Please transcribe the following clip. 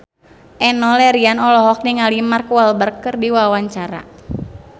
Enno Lerian olohok ningali Mark Walberg keur diwawancara